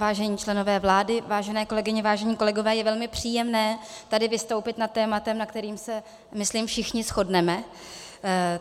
Vážení členové vlády, vážené kolegyně, vážení kolegové je velmi příjemné tady vystoupit nad tématem, na kterém se, myslím, všichni shodneme.